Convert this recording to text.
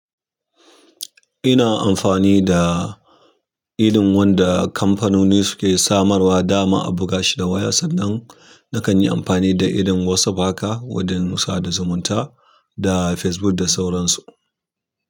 Ina amfani da idon wanda kamfanoni suke samarwa dama a buga shi da waya, sanda na kan yi amfani da irin WhatsApp haka wajen sada zumunta da Facebook da sauran su.